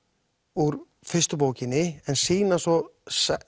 úr fyrstu bókinni en sýna svo